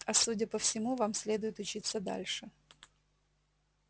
а судя по всему вам следует учиться дальше